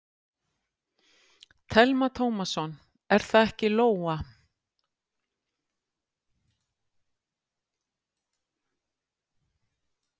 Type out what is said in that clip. Telma Tómasson: Er það ekki Lóa?